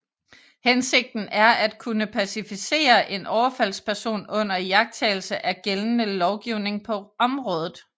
Hensigten er at kunne pacificere en overfaldsperson under iagtagelse af gældende lovgivning på området